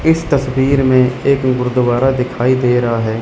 इस तस्वीर में एक गुरुद्वारा दिखाई दे रहा है।